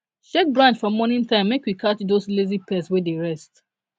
shake branch for morning time make we catch those lazy pests wey dey rest